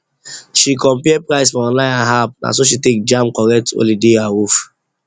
she compare price for online and app naso she take jam correct holiday awoof